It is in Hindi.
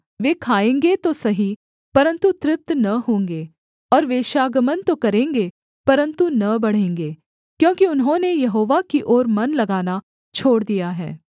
वे खाएँगे तो सही परन्तु तृप्त न होंगे और वेश्‍यागमन तो करेंगे परन्तु न बढ़ेंगे क्योंकि उन्होंने यहोवा की ओर मन लगाना छोड़ दिया है